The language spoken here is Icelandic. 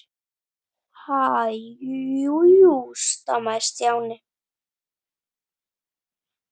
Ha- jú, jú stamaði Stjáni.